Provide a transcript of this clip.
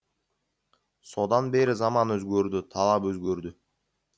содан бері заман өзгерді талап өзгерді